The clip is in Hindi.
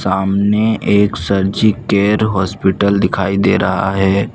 सामने एक सर्जिकेयर हॉस्पिटल दिखाई दे रहा है।